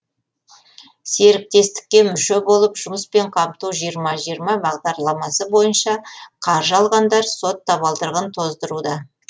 серіктестікке мүше болып жұмыспен қамту жиырма жиырма бағдарламасы бойынша қаржы алғандар сот табалдырығын тоздыруда